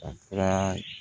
A fura